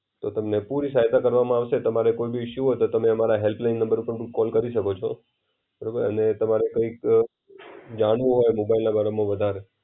એ તમને પુઈ સહ્યતા કરવામાં આવશે, તમારા કોઈ બી ઇશુ હોય તો તમે અમારા હેલ્પલાઈન નંબર ઉપર પણ કોલ કરી શકો છો. અને તમારે કૈક ઓ જાણવું હોય મોબાઈલના બારામાં વધારે.